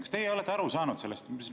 Kas teie olete aru saanud sellest?